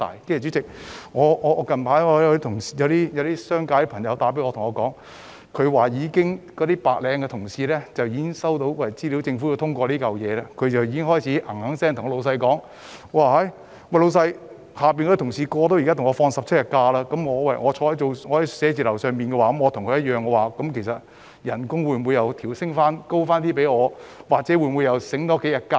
主席，最近有商界朋友打電話給我，表示其白領僱員收到消息得知政府要通過這項法案後，便開始追問他們，如果下屬即將可以放取17天假期，與在寫字樓工作的白領的假期日數一樣，那麼他們的薪酬是否可以調升又或多享幾天假期。